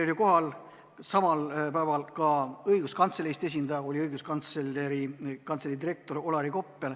Kohal oli samal päeval ka õiguskantsleri esindaja, oli Õiguskantsleri Kantselei direktor Olari Koppel.